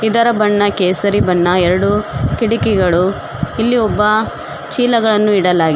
ಇದರ ಬಣ್ಣ ಕೇಸರಿ ಬಣ್ಣ ಎರಡು ಕಿಟಕಿಗಳು ಇಲ್ಲಿ ಒಬ್ಬ ಚೀಲಗಳನ್ನು ಇಡಲಾಗಿ --